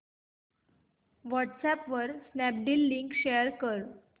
WhatsApp वर Snapdeal link share कर